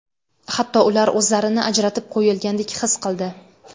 Hatto ular o‘zlarini ajratib qo‘yilgandek his qildi.